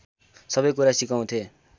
सबैकुरा सिकाउँथे